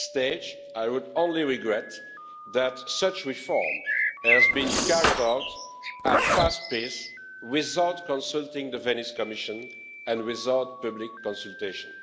At this stage, I would only regret that such reform has been carried out at a fast pace without consulting the Venice Commission and without public consultation.